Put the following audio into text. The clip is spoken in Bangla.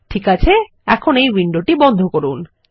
ঠিক আছে এখন এই উইন্ডোটি বন্ধ করুন